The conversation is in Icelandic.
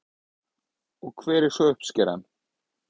Og hver er svo uppskeran?